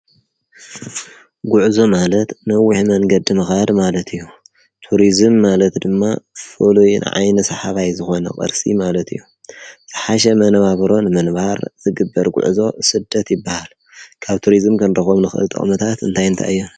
ጕዕዞ ማለት ንዊኅ መንገዲ መኽኣድ ማለት እዮም ቱርዝም ማለት ድማ ፈሉይን ዓይነ ሰሓባይ ዝኾነ ቐርሲ ማለት እዮም ተሓሸ መነባበሮን መንባር ዝግበር ጕዕዞ ስደት ይበሃል ካብ ቱሪስም ከንረኾም ንኽእጥኣዉመታት እንታይንተእዮ